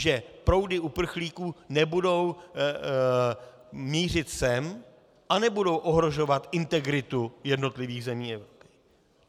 Že proudy uprchlíků nebudou mířit sem a nebudou ohrožovat integritu jednotlivých zemí Evropy.